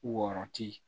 Wɔɔrɔ ti